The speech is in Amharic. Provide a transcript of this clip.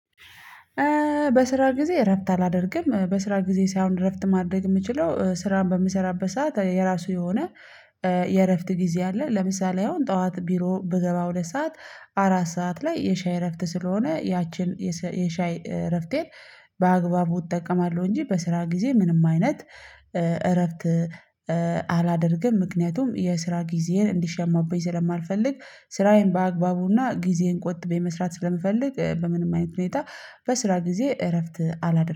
በስራ ጊዜ እረፍት አላደርግም በስራ ጊዜ ሳይሆን እረፍት ማድረግ የምችለው ስራን በምሰራበት ሰዓት የራሱ የሆነ የእረፍት ጊዜ አለ። ለምሳሌ አሁን ጠዋት ቢሮ ብገባ ሁለት ሰዓት አራት ሰዓት ላይ የሻይ እረፍት ስለሆነ ያችን የሻይ እረፍቴን በአግባቡ እጠቀማለሁ። እንጂ በስራ ጊዜ ምንም አይነት እረፍት አላደርግም። ምክንያቱም የስራ ጊዜን እንዲሸማብኝ ስለማልፈልግ ስራዬን በአግባቡና ጊዜን ቆጥበኝ መስራት ስለምፈልግ በምንም አይነት ሁኔታ በስራ ጊዜ እረፍት አላደረገም